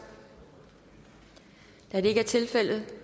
da det ikke er tilfældet